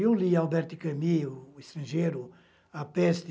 Eu li Albert Camus, O Estrangeiro, A Peste,